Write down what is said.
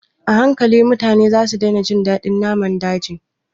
A hankali, mutane za su daina jin daɗin naman daji